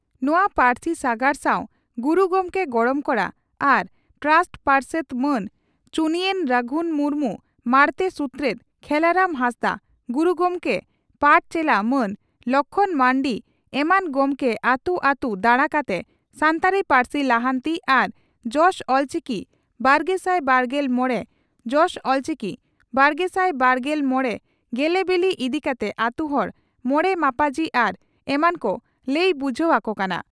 ᱱᱚᱣᱟ ᱯᱟᱹᱨᱥᱤ ᱥᱟᱜᱟᱲ ᱥᱟᱣ ᱜᱩᱨᱩ ᱜᱚᱢᱠᱮ ᱜᱚᱲᱚᱢ ᱠᱚᱲᱟ ᱟᱨ ᱴᱨᱟᱥᱴ ᱯᱟᱨᱥᱮᱛ ᱢᱟᱱ ᱪᱩᱱᱭᱮᱱ ᱨᱟᱜᱷᱩᱱ ᱢᱩᱨᱢᱩ, ᱢᱟᱬᱛᱮ ᱥᱩᱛᱨᱮᱛ ᱠᱷᱮᱞᱟᱨᱟᱢ ᱦᱟᱸᱥᱫᱟᱜ, ᱜᱩᱨᱩ ᱜᱚᱢᱠᱮ ᱯᱟᱴᱪᱮᱞᱟ ᱢᱟᱱ ᱞᱚᱠᱷᱢᱚᱬ ᱢᱟᱨᱱᱰᱤ ᱮᱢᱟᱱ ᱜᱚᱢᱠᱮ ᱟᱹᱛᱩ ᱟᱹᱛᱩ ᱫᱟᱬᱟ ᱠᱟᱛᱮ ᱥᱟᱱᱛᱟᱲᱤ ᱯᱟᱹᱨᱥᱤ ᱞᱟᱦᱟᱱᱛᱤ ᱟᱨ ᱡᱚᱥ ᱚᱞᱪᱤᱠᱤ ᱵᱟᱨᱜᱮᱥᱟᱭ ᱵᱟᱨᱜᱮᱞ ᱢᱚᱲᱮ ᱡᱚᱥ ᱚᱞᱪᱤᱠᱤ ᱵᱟᱨᱜᱮᱥᱟᱭ ᱵᱟᱨᱜᱮᱞ ᱢᱚᱲᱮ ᱜᱮᱞᱮᱵᱤᱞᱤ ᱤᱫᱤ ᱠᱟᱛᱮ ᱟᱹᱛᱩ ᱦᱚᱲ, ᱢᱚᱬᱮ ᱢᱟᱯᱟᱡᱤ ᱟᱨ ᱮᱢᱟᱱ ᱠᱚ ᱞᱟᱹᱭ ᱵᱩᱡᱷᱟᱹᱣ ᱟᱠᱚ ᱠᱟᱱᱟ ᱾